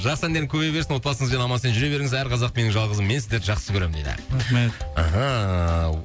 жақсы әндерің көбейе берсін отбасыңызбен аман есен жүре беріңіз әр қазақ менің жалғызым мен сіздерді жақсы көремін дейді рахмет мхм